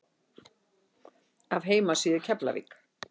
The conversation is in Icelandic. Af heimasíðu Keflavík